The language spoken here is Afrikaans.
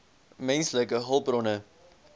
menslike hulpbronne